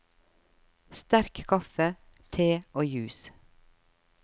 Sterk kaffe, te og juice.